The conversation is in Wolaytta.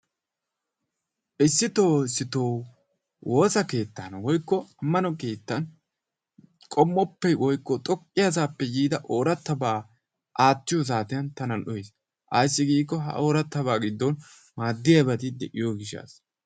Issitoo issitoo woosa keettan woyikko ammano keettan qommoppe woyikko xoqqiyasaappe yiida oorabaa aattiyo saatiyan tana lo"es. Ayisdi giikko ha ooratrabaa giddon maaddiyabati de'iyo gishshasa.